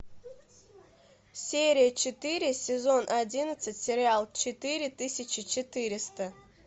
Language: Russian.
серия четыре сезон одиннадцать сериал четыре тысячи четыреста